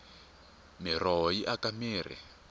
miroho yi aka mirhi